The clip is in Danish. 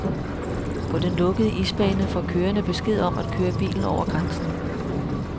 På den lukkede isbane får kørerne besked om at køre bilen over grænsen.